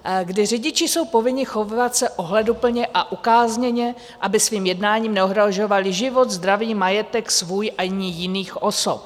... kdy řidiči jsou povinni chovat se ohleduplně a ukázněně, aby svým jednáním neohrožovali život, zdraví, majetek svůj ani jiných osob.